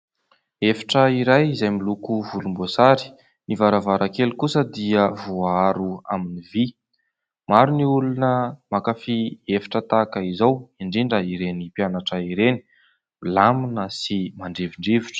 Efitra iray izay miloko volomboasary, ny varavarankely kosa dia voaharo amin'ny vy. Maro ny olona mankafy efitra tahaka izao indrindra ireny mpianatra ireny, milamina sy mandrivondrivotra.